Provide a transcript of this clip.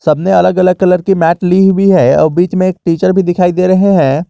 सबने अलग अलग कलर की मैट ली हुई है और बीच में टीचर भी दिखाई दे रहे हैं।